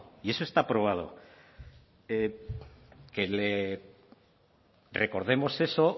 y eso está probado que le recordemos eso